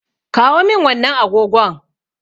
Kawo min wannan agogon.